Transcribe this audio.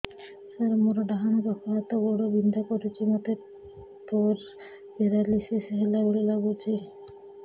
ସାର ମୋର ଡାହାଣ ପାଖ ହାତ ଗୋଡ଼ ବିନ୍ଧା କରୁଛି ମୋତେ ପେରାଲିଶିଶ ହେଲା ଭଳି ଲାଗୁଛି